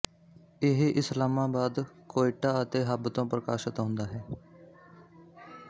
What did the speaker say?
ਇਹ ਇਸਲਾਮਾਬਾਦ ਕੋਇਟਾ ਅਤੇ ਹੱਬ ਤੋਂ ਪ੍ਰਕਾਸ਼ਤ ਹੁੰਦਾ ਹੈ